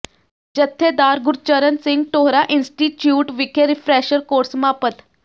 ਜਥੇਦਾਰ ਗੁਰਚਰਨ ਸਿੰਘ ਟੌਹੜਾ ਇੰਸਟੀਚਿਊਟ ਵਿਖੇ refresher course ਸਮਾਪਤ